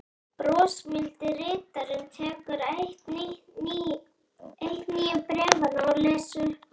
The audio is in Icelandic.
Brosmildi ritarinn tekur eitt nýju bréfanna og les upphátt